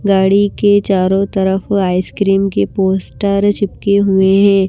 गाड़ी के चारों तरफ आइसक्रीम के पोस्टर चिपके हुए हैं।